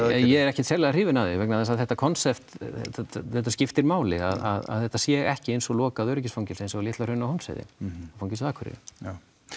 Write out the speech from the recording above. ég er ekkert sérlega hrifinn af því vegna þess að þetta konsept þetta skiptir máli að þetta sé ekki eins og lokað öryggisfangelsi eins og á Litla Hrauni og Hólmsheiði fangelsið á Akureyri já